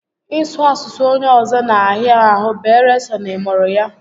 Ị sụ asụsụ onye ọzọ na a hịa ahụ beere sọ na ị mụrụ ya